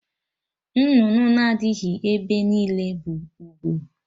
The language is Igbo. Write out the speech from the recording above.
Nnụnụ na-adịghị ebe niile bụ ugo